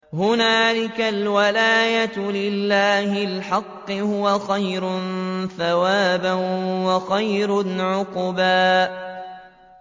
هُنَالِكَ الْوَلَايَةُ لِلَّهِ الْحَقِّ ۚ هُوَ خَيْرٌ ثَوَابًا وَخَيْرٌ عُقْبًا